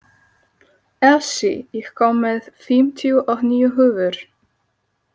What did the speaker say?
Elsí, ég kom með fimmtíu og níu húfur!